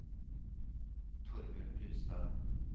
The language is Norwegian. Torbjørn Brustad